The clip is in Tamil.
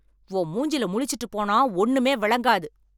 உன் மூஞ்சில முழிச்சுட்டு போனா ஒண்ணுமே வெளங்காது.